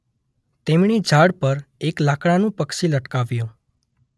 તેમણે ઝાડ પર એક લાકડાનુ પક્ષી લટકાવ્યુ.